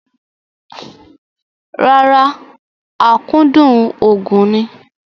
Rárá, akúndùn òògùn ni.